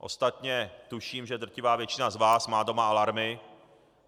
Ostatně tuším, že drtivá většina z vás má doma alarmy.